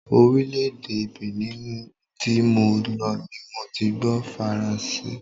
Orílè-èdè Benin tí mo lọ ni mo ti gbó Faranse.